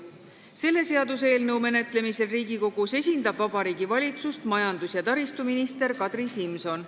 Selle seaduseelnõu menetlemisel Riigikogus esindab Vabariigi Valitsust majandus- ja taristuminister Kadri Simson.